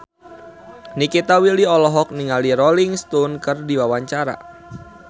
Nikita Willy olohok ningali Rolling Stone keur diwawancara